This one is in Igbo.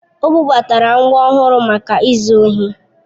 O bubatara ngwa ọhụrụ maka izu ohi